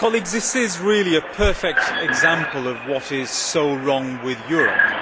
This is really a perfect example of what is so wrong with Europe.